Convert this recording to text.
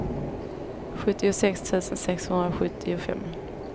sjuttiosex tusen sexhundrasjuttiofem